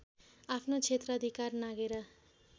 आफ्नो क्षेत्राधिकार नाघेर